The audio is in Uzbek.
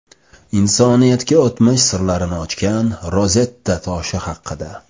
Insoniyatga o‘tmish sirlarini ochgan Rozetta toshi haqida.